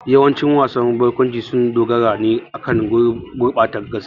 Yawancin wasan barkwanci sun dogara ne akan gurbata gaskiya.